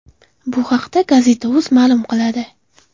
Bu haqda Gazeta.uz ma’lum qiladi.